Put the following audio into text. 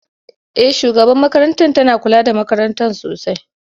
Eh shugabar makarantar tana kula da makarantar sosai